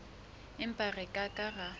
empa re ke ke ra